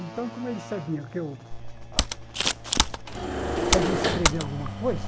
Então, como ele sabia que eu sabia escrever alguma coisa,